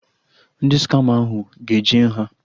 Ndị skama ahụ ga-eje nha